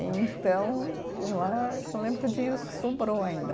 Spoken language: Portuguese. Então, lá, que eu lembro que o dinheiro sobrou ainda.